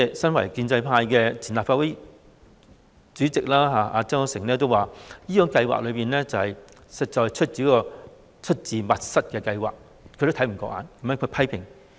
身為建制派的前立法會主席曾鈺成也表示，這項計劃實在是一項出自密室的計劃，他也看不過眼，所以作出批評。